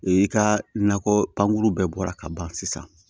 I ka nakɔ pankuru bɛɛ bɔra ka ban sisan